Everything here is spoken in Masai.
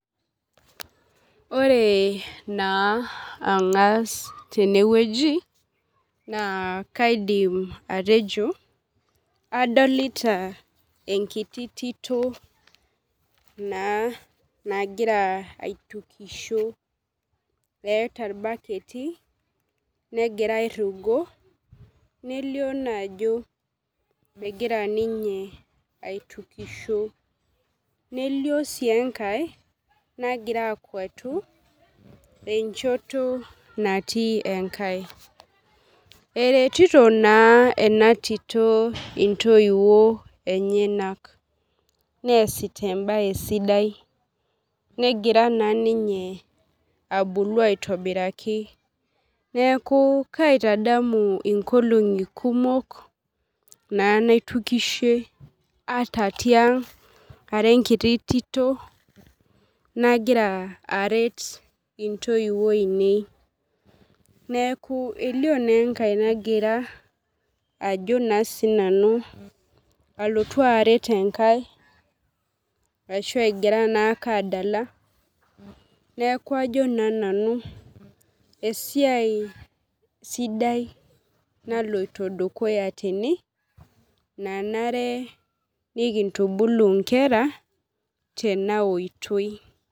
Ore na angas tenewueji na kaidim atejo adolta enkiti tito na nagira aitukisho eeta irbaketi negira airugo nelio ajo egira ninye aitukisho nelio enkae nagira akwatu enchoto natii enkae eretito na enatito ntoiwuo enyenak neasita embae sidai negira abulu aitobiraki neaku kaitodolu nkolongi kumok na naitukishe ara enkiti tito nagira aret ntoiwuo ainei elio na enkaenagira alotu aret enkae ashu egira ake adala neakubajo na nanu esiai sidai naloito dukuya tene nanare nikintubulu nkera tenaotoi.